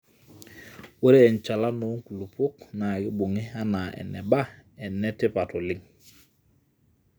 ore enchalana oo nkulupuok naa keibung'I anaa eba e etipat oleng